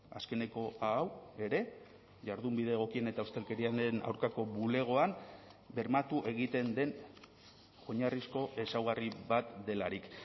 azkeneko hau ere jardunbide egokien eta ustelkeriaren aurkako bulegoan bermatu egiten den oinarrizko ezaugarri bat delarik